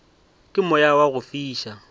ke moya wa go fiša